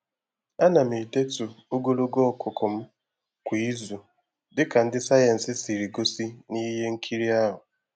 Ana m edetu ogologo ọkụkụ m kwa izu dịka ndi sayensị siri gosi na ihe nkiri ahụ